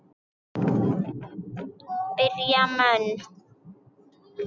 Berja menn.?